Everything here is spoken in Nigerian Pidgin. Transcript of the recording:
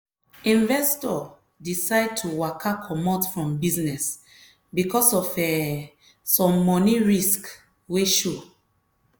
investor decide to waka comot from business because of um some money risk wey show.